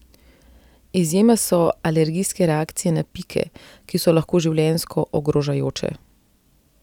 Izjema so alergijske reakcije na pike, ki so lahko življenjsko ogrožajoče.